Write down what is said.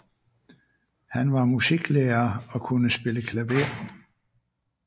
Han var musiklærer og kunne spille klaver